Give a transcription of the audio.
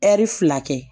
Ɛri fila kɛ